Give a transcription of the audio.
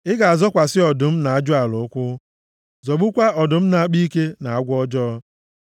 Ị ga-azọkwasị ọdụm na ajụala ụkwụ, zọgbukwaa ọdụm na-akpa ike, na agwọ ọjọọ.